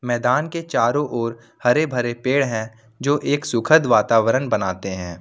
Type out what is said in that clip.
मैदान के चारों ओर हरे भरे पेड़ है जो एक सुखद वातावरण बनाते हैं।